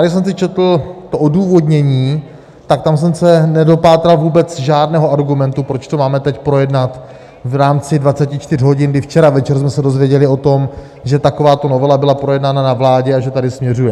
Když jsem si četl to odůvodnění, tak tam jsem se nedopátral vůbec žádného argumentu, proč to máme teď projednat v rámci 24 hodin, kdy včera večer jsme se dozvěděli o tom, že takováto novela byla projednána na vládě a že sem směřuje.